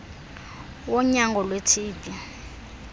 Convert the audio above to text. wonyango lwe tb